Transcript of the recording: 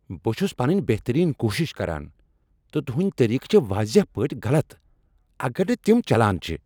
بہٕ چھس پنٕنۍ بہترین کوٗشش کران، تہٕ تہنٛدۍ طریقہٕ چھ واضح پٲٹھۍ غلط اگر نہٕ تم چلان چھ۔